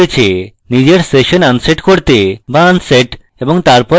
নিজের session unset করতে বা unset এবং তারপর বন্ধনীতে session